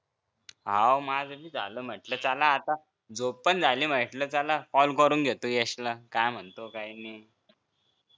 आह माझं भी झालं म्हंटल चला आता झोप पण झाली म्हंटल चला call करून घेतो यश ला काय म्हणतो काय नाही